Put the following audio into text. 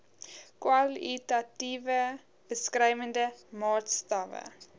kwalitatiewe beskrywende maatstawwe